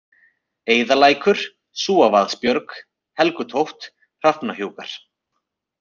Eiðalækur, Súavaðsbjörg, Helgutótt, Hrafnahnjúkar